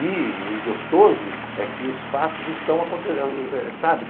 E o gostoso é que os fatos estão acontecendo, sabe?